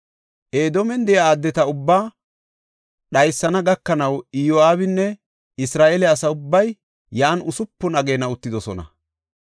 Edoomen de7iya addeta ubbaa dhaysana gakanaw Iyo7aabinne Isra7eele asa ubbay yan usupun ageena uttidosona.